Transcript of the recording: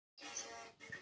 Ari spyr hvað ég geri.